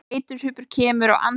Þreytusvipur kemur á andlit hans.